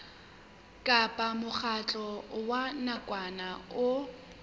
kapa mokgatlo wa nakwana o